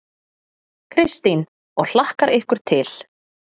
Kristín: Og hlakkar ykkur til?